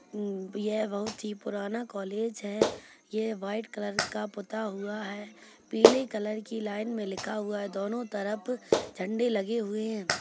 यह बहुत ही पुराना कॉलेज है ये व्हाइट कलर का पुता हुआ है पीले कलर की लाइन में लिखा हुआ है दोनों तरफ झंडे लगे हुए है।